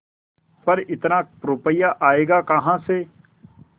पर इतना रुपया आयेगा कहाँ से